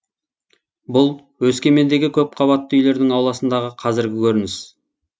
бұл өскемендегі көпқабатты үйлердің ауласындағы қазіргі көрініс